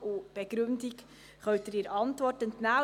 Die Begründung dazu können Sie der Motionsantwort entnehmen.